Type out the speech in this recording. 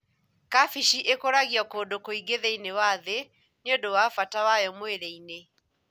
Kabeci ĩkũragio kũndũ kũingĩ thĩinĩe wa thĩ nĩundu wa bata wayo mwĩlĩinĩ.